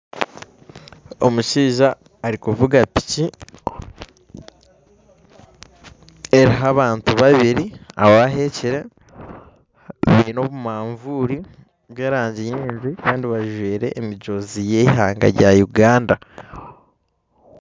Omushaija arikuvuga piki eriho abantu babiri abaheekire baine obumanvuuri bwerangi nyingi Kandi bajwaire emijoozi yeihanga rya Uganda